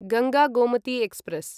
Ganga Gomti express